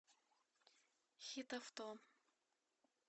хитавто